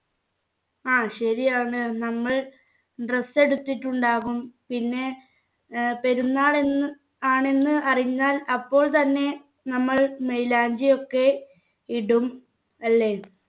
ആ ശരിയാണ് നമ്മൾ dress എടുത്തിട്ടുണ്ടാകും പിന്നെ ഏർ പെരുന്നാൾ എന്ന് ആണെന്ന് അറിഞ്ഞാൽ അപ്പോൾ തന്നെ നമ്മൾ മൈലാഞ്ചി ഒക്കെ ഇടും അല്ലേ